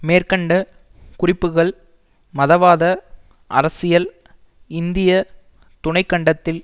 மேற்கண்ட குறிப்புக்கள் மதவாத அரசியல் இந்திய துணைக்கண்டத்தில்